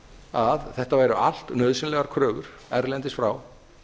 að þetta væru allt nauðsynlegar kröfur erlendis frá